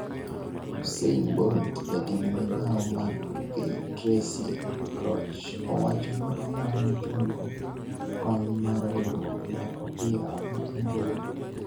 Usain Bolt Jatend migawo mar tuke Tracey Crouch owacho ni onyalo chungo kony mar riwruok mar opira ma England